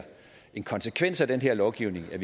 en konsekvens af den her lovgivning ville